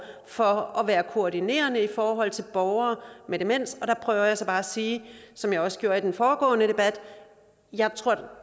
for at være koordinerende i forhold til borgere med demens og der prøver jeg så bare at sige som jeg også gjorde i den foregående debat at jeg